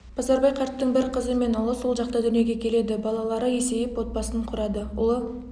базарбай қарттың бір қызы мен ұлы сол жақта дүниеге келеді балалары есейіп отбасын құрады ұлы